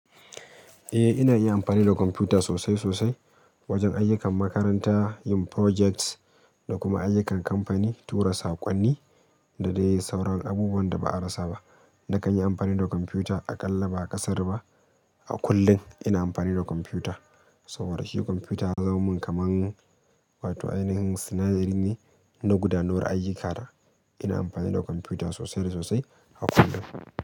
Eh ina yin amfani da kwamfuta sosai-sosai. Wajen ayyukan makaranta, yin projects da kuma ayyukan kamfani, tura saƙonni da dai sauran abubuwan da ba a rasa ba. Na kan yi amfani da kwamfuta a ƙalla ba ƙasar ba. A kullum ina amfani da kwamfuta. Saboda shi kwamfuta ya zaman min kaman wato ainihin sinadari ne na gudanar ayyukana. Ina amfani da kwamfuta sosai da sosai a kullum.